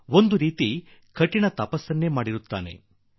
ಒಂದು ರೀತಿಯ ಕಠೋರ ತಪಸ್ಸನ್ನು ಮಾಡುತ್ತಾನೆ